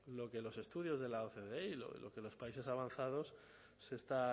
lo que los estudios de la ocde y lo que en los países avanzados se está